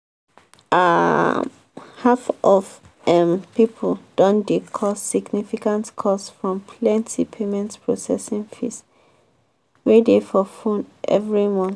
um half of um people don dey cause significant costs from plenty payment processing fees wey dey for phone every month.